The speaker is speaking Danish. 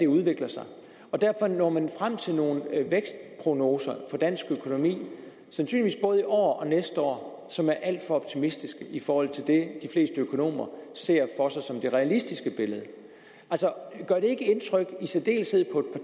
udvikle sig og derfor når man frem til nogle vækstprognoser for dansk økonomi sandsynligvis både i år og næste år som er alt for optimistiske i forhold til det de fleste økonomer ser for sig som det realistiske billede altså gør det ikke indtryk i særdeleshed på